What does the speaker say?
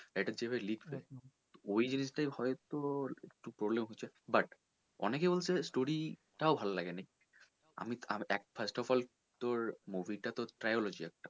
এটা যে এবার লিখবে ওই জিনিস টা হয়তো একটু problem হচ্ছে but অনেকে বলছে story টা ভালো লাগেনি আমি আমি first of all তোর movie টা তো triology একটা।